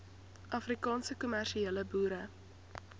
afrikaanse kommersiële boere